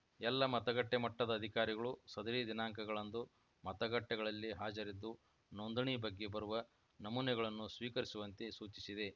ಎಲ್ಲ ಮತಗಟ್ಟೆಮಟ್ಟದ ಅಧಿಕಾರಿಗಳು ಸದರಿ ದಿನಾಂಕಗಳಂದು ಮತಗಟ್ಟೆಗಳಲ್ಲಿ ಹಾಜರಿದ್ದು ನೋಂದಣಿ ಬಗ್ಗೆ ಬರುವ ನಮೂನೆಗಳನ್ನು ಸ್ವೀಕರಿಸುವಂತೆ ಸೂಚಿಸಿದೆ